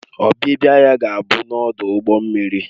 Ọbịbịa ya ga-abụ n'ọdụ ụgbọ mmiri